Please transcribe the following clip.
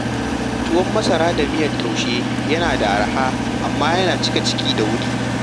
Tuwon masara da miyar taushe yana da arha, amma yana cika ciki da wuri.